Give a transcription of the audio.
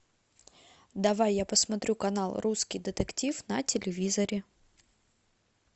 давай я посмотрю канал русский детектив на телевизоре